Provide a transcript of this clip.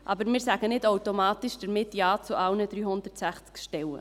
Aber wir sagen damit nicht automatisch Ja zu allen 360 Stellen.